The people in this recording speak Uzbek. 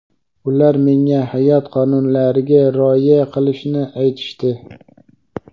Ular menga hayot qonunlariga rioya qilishni aytishdi.